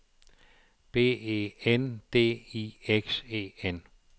B E N D I X E N